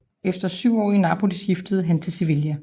Efter syv år i Napoli skiftede han til Sevilla